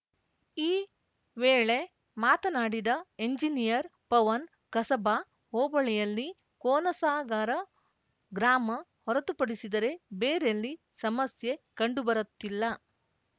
ಈ ವೇಳೆ ಮಾತನಾಡಿದ ಎಂಜಿನಿಯರ್‌ ಪವನ್‌ ಕಸಬಾ ಹೋಬಳಿಯಲ್ಲಿ ಕೋನಸಾಗರ ಗ್ರಾಮ ಹೊರತುಪಡಿಸಿದರೆ ಬೇರೆಲ್ಲಿ ಸಮಸ್ಯೆ ಕಂಡುಬರುತ್ತಿಲ್ಲ